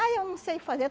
Ah, eu não sei fazer.